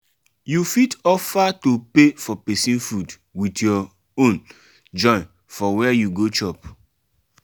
you fit offer to pay for persin food with your own join for where you go chop